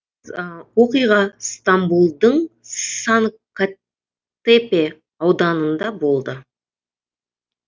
оқиға стамбулдың санккатепе ауданында болды